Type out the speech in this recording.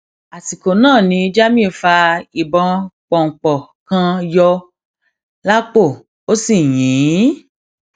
àsìkò náà ni jamiu fa ìbọn pọńpọ kan yọ lápò ó sì yìn ín